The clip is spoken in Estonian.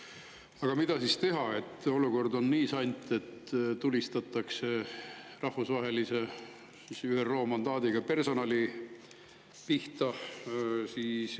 Aga mida siis teha, kui olukord on nii sant, et tulistatakse rahvusvahelise, ÜRO mandaadiga personali pihta?